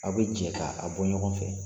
Aw bi jɛ ka a bɔ ɲɔgɔn fɛ.